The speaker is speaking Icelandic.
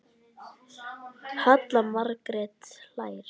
Halla Margrét hlær.